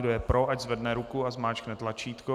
Kdo je pro, ať zvedne ruku a zmáčkne tlačítko.